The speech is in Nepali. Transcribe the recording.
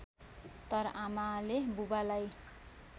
तर आमाले बाबुलाई